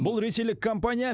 бұл ресейлік компания